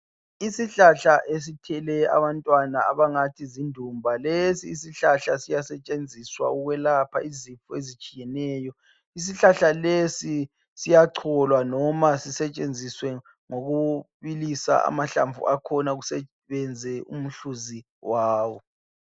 Isihlahla esithile abantwana abangathi zindumba. Lesi isihlahla siyasentshenziswa ukwelapha izifo ezitshiyeneyo. Isihlahla lesi siyacholwa noma sisentshenziswe ngokubilisa amahlamvu akhona kusebenze umhluzi wawo.